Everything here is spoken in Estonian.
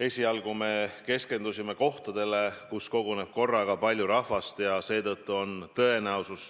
Esialgu me keskendusime kohtadele, kuhu koguneb korraga palju rahvast ja kus on seetõttu tõenäosus